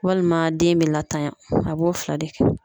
Walima den bɛ latanya a b'o fila de kɛ.